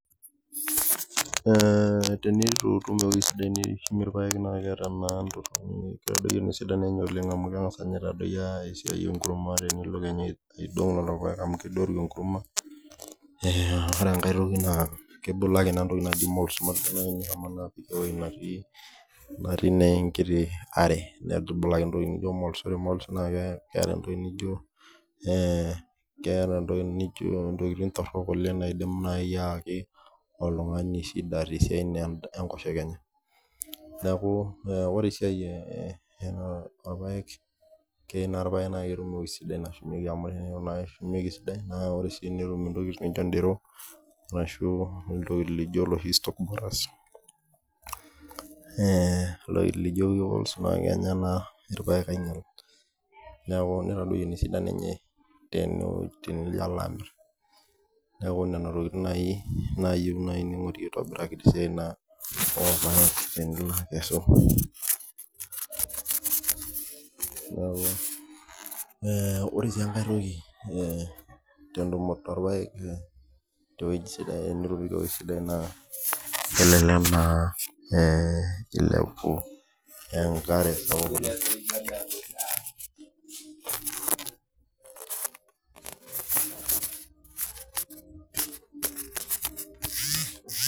Ee tenitu itum ewoi sidai nishumie irpaek na keeta esidano oleng amu kengasa atadoyio enkurma tenilo aidong lolopaek ore enkae toki na kebulaki entoki naji moles natii enkitibare neaku kebulaki entoki nijo moles na keeta entoki nijo ntokitin torok naidim ayaki oltungani shida tesiai enkosheke enye neaku ore esiai e orpaek na keyieu nakeshumi esidai amu tenetum ndero ashu loshi stalkboarers ee ntokitin nijo tenijo alo amir neaku nona tokitin nayieu ningurari tesiai orpaek tenilo akesu ore si enkae toki entoki sidai yiolo ena na ilepu enkare